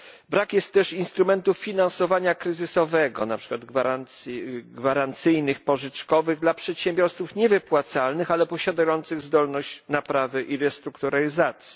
Brak jest też instrumentów finansowania kryzysowego na przykład gwarancyjnych i pożyczkowych dla przedsiębiorców niewypłacalnych, ale posiadających zdolność naprawy i restrukturyzacji.